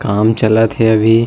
काम चलत हे अभी--